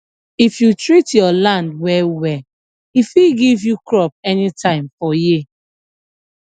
if you treat your land well well e fit give you crop anytime for year